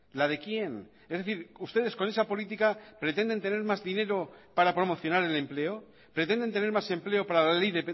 la de quién es decir ustedes con esa política pretenden tener más dinero para promocionar el empleo pretenden tener más empleo para la ley